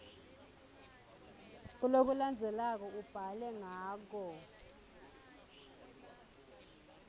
kulokulandzelako ubhale ngako